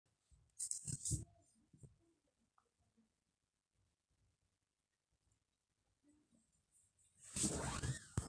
tuunisho teneiteru enchan, imbekun uni mpaka imiet te nkumoto nagut inchei nabo mpaka are tuuno too nkaik ashu intumia e mashini olpaek